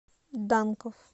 данков